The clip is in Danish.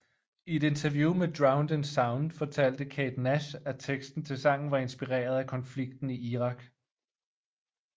I et interview med Drowned in Sound fortalte Kate Nash at teksten til sangen var inspireret af konflikten i Irak